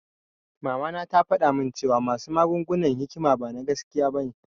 Mama na tafaɗa mun cewan wasu maganganun hikima bana gaskiya bane